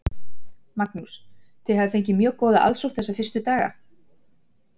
Magnús: Þið hafið fengið mjög góða aðsókn þessa fyrstu daga?